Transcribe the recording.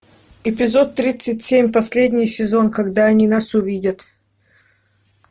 эпизод тридцать семь последний сезон когда они нас увидят